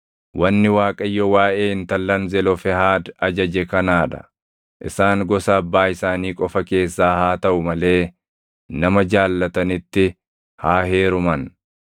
Wanni Waaqayyo waaʼee intallan Zelofehaad ajaje kanaa dha: Isaan gosa abbaa isaanii qofa keessaa haa taʼu malee nama jaallatanitti haa heeruman.